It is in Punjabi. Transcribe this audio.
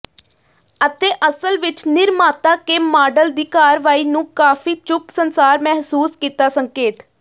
ਅਤੇ ਅਸਲ ਵਿੱਚ ਨਿਰਮਾਤਾ ਕੇ ਮਾਡਲ ਦੀ ਕਾਰਵਾਈ ਨੂੰ ਕਾਫ਼ੀ ਚੁੱਪ ਸੰਸਾਰ ਮਹਿਸੂਸ ਕੀਤਾ ਸੰਕੇਤ